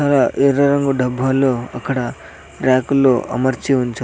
ఇక్కడ ఎర్ర రంగు డబ్బాలో అక్కడ ర్యాకుల్లో అమర్చి ఉంచా.